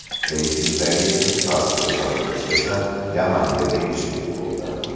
Reytingdagi eng past ko‘rsatkich esa Yamanga tegishli bo‘ldi.